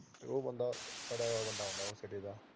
ਉਹ ਬੰਦਾ ਸੜਿਆ ਵਾ ਹੁੰਦਾ ਐ ਸਿਰੇ ਦਾ